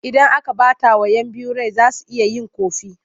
Idan aka ɓatawa 'yan biyu rai za su iya yin ƙofi.